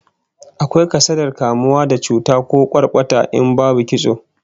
Akwai kasadar kamuwa da cuta ko kwarkwata in babu kitso